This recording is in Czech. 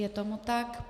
Je tomu tak.